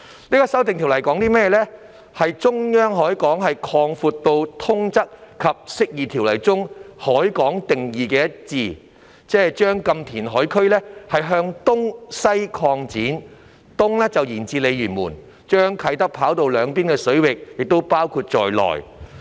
就是將"中央海港"擴闊至與《釋義及通則條例》中"海港"的定義一致，即將"禁填海"區向東西擴展，東面延至鯉魚門，將啟德跑道兩邊的水域包括在內。